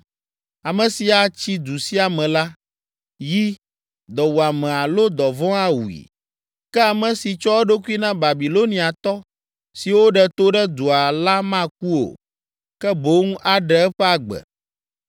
Ame si atsi du sia me la, yi, dɔwuame alo dɔvɔ̃ awui, ke ame si tsɔ eɖokui na Babiloniatɔ siwo ɖe to ɖe dua la maku o, ke boŋ aɖe eƒe agbe.